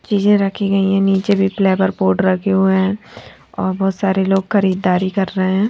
चीजे रखी गयी है निचे भी रखे हुए है और बोहोत सारे लोग खरीदारी कर रहे है.